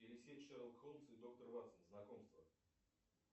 шерлок холмс и доктор ватсон знакомство